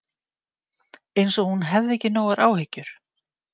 Eins og hún hefði ekki nógar áhyggjur.